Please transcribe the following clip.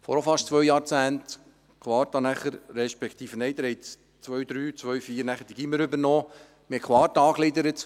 Vor fast zwei Jahrzehnten wurde 2003 oder 2004 die Quarta angegliedert, weil Sie dies hier drinnen beschlossen hatten.